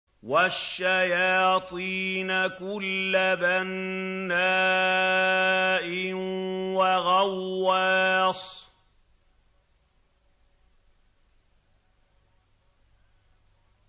وَالشَّيَاطِينَ كُلَّ بَنَّاءٍ وَغَوَّاصٍ